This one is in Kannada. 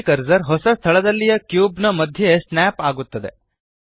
3ದ್ ಕರ್ಸರ್ ಹೊಸ ಸ್ಥಳದಲ್ಲಿಯ ಕ್ಯೂಬ್ ನ ಮಧ್ಯಕ್ಕೆ ಸ್ನ್ಯಾಪ್ ಆಗುತ್ತದೆ